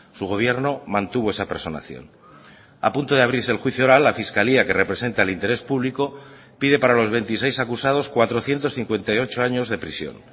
su gobierno mantuvo esa personación a punto de abrirse el juicio oral la fiscalía que representa el interés público pide para los veintiséis acusados cuatrocientos cincuenta y ocho años de prisión